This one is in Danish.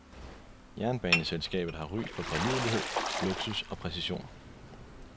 Jernbaneselskabet har ry for pålidelighed, luksus og præcision.